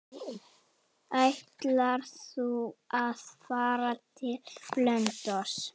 Ætlar þú að fara til Blönduóss?